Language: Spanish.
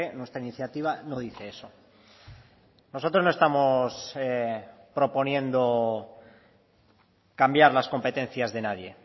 nuestra iniciativa no dice eso nosotros no estamos proponiendo cambiar las competencias de nadie